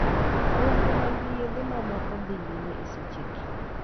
nonro mag yedhe mamoko dhi nyimi esechegi